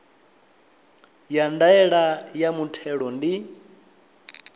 ya ndaela ya muthelo ndi